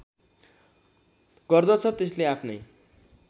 गर्दछ त्यसले आफ्नै